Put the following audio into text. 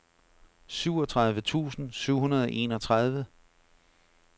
syvogtredive tusind syv hundrede og enogtredive